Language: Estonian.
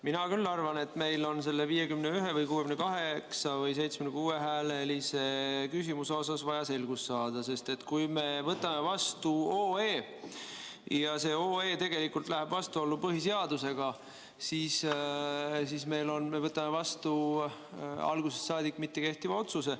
Mina küll arvan, et meil on selle 51 või 68 või 76 hääle küsimuses vaja selgust saada, sest kui me võtame vastu otsuse eelnõu ja see läheb vastuollu põhiseadusega, siis me oleme vastu võtnud algusest peale mittekehtiva otsuse.